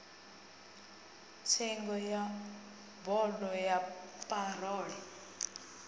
tsengo ya bodo ya parole